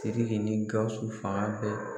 SIRIKI ni GAWUSU fanga bɛ.